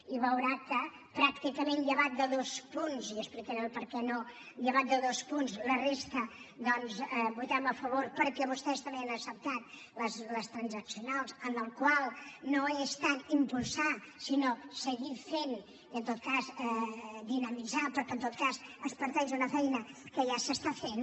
i veurà que llevat de dos punts i explicaré per què no en la resta doncs hi votarem a favor perquè vostès també han acceptat les transaccionals en les quals no és tant impulsar sinó seguir fent i en tot cas dinamitzar però que en tot cas es parteix d’una feina que ja es fa